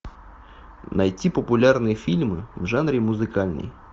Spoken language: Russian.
найти популярные фильмы в жанре музыкальный